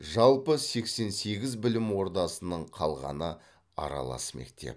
жалпы сексен сегіз білім ордасының қалғаны аралас мектеп